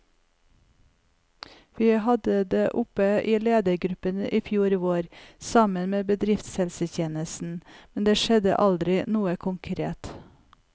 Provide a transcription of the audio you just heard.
Vi hadde det oppe i ledergruppen i fjor vår, sammen med bedriftshelsetjenesten, men det skjedde aldri noe konkret.